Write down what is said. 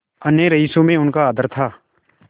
अन्य रईसों में उनका आदर था